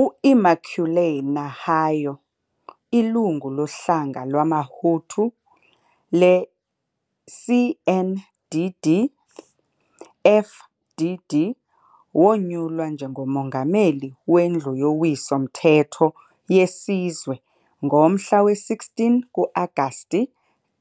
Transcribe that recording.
U-Immaculée Nahayo, ilungu lohlanga lwamaHutu le-CNDD-FDD, wonyulwa njengomongameli weNdlu yoWiso-mthetho yeSizwe ngomhla we-16 ku-Agasti